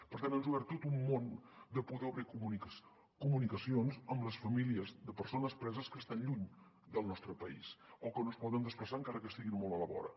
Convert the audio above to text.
per tant ens ha obert tot un món de poder obrir comunicacions amb les famílies de persones preses que estan lluny del nostre país o que no es poden desplaçar encara que estiguin molt a la vora